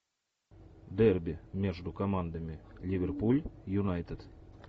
дерби между командами ливерпуль юнайтед